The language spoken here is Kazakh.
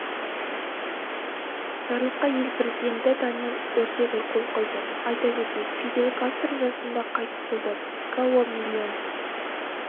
жарлыққа ел президенті даниэль ортега қол қойды айта кетейік фидель кастро жасында қайтыс болды гоа миллион